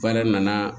Baara nana